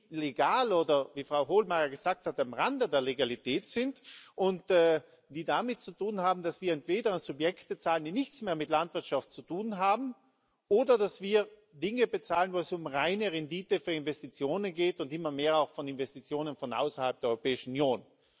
Die legal oder, wie Frau Hohlmeier gesagt hat, am Rande der Legalität sind und die damit zu tun haben, dass wir entweder an Subjekte zahlen, die nichts mehr mit Landwirtschaft zu tun haben, oder dass wir Dinge bezahlen, wo es um reine Rendite für Investitionen geht und immer mehr auch von Investitionen von außerhalb der Europäischen Union.